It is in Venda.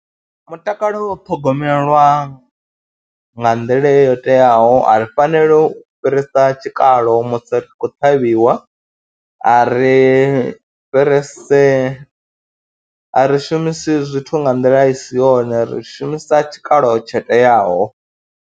Mutakalo u thogomelwa nga nḓila yo teaho ari faneli u fhirisa tshikalo musi ri tshi khou ṱhavhiwa, a ri fhirisi, a ri shumisi zwithu nga nḓila i si yone, ri shumisa tshikalo tsho teaho.